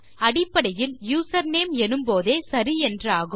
அடிப்படையில் யூசர்நேம் எனும்போதே சரி என்றாகும்